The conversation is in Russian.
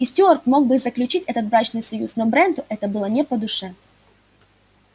и стюарт мог бы заключить этот брачный союз но бренту это было не по душе